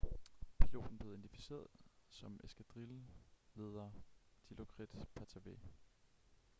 piloten blev identificeret som eskadrilleleder dilokrit pattavee